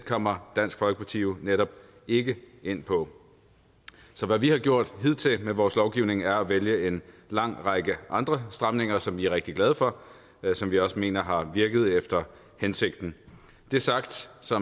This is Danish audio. kommer dansk folkeparti jo netop ikke ind på så hvad vi har gjort hidtil med vores lovgivning er at vælge en lang række andre stramninger som vi er rigtig glade for og som vi også mener har virket efter hensigten det sagt så